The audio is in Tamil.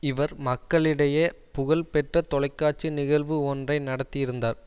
இவர் மக்களிடைய புகழ் பெற்ற தொலைக்காட்சி நிகழ்வு ஒன்றை நடத்தியிருந்தார்